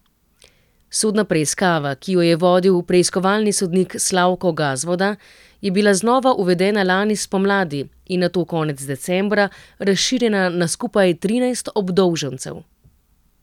Sodna preiskava, ki jo je vodil preiskovalni sodnik Slavko Gazvoda, je bila znova uvedena lani spomladi in nato konec decembra razširjena na skupaj trinajst obdolžencev.